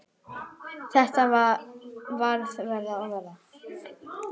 Þetta varð verra og verra.